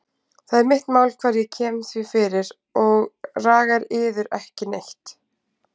Það er mitt mál hvar ég kem því fyrir og ragar yður ekki neitt.